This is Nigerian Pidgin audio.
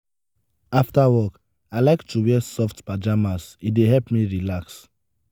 after work i like to wear soft pajamas; e dey help me relax.